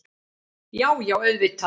Já, já auðvitað.